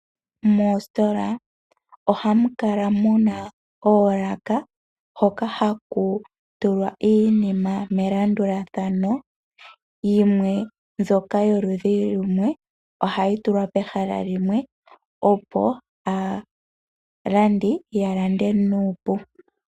Moostola ohamu kala muna ooloka, hoka haku tulwa iinima melandulathano. Yimwe mbyoka yo ludhi lumwe ohadhi tulwa pehala limwe opo aalandi ya lande nuupu.